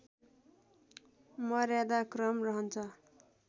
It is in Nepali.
मर्यादाक्रम रहन्छ